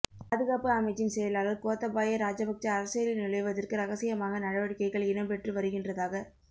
பாதுகாப்பு அமைச்சின் செயலாளர் கோத்தபாய ராஜபக்ச அரசியலில் நுழைவதற்கு இரகசியமாக நடவடிக்கைகள் இடம்பெற்று வருகின்றதாக